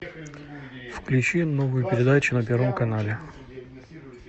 включи новую передачу на первом канале